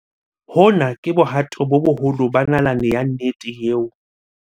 "Hona ke bohato bo boholo ba nalane ya nnete eo"